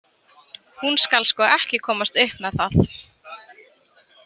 Hún skal sko ekki komast upp með það.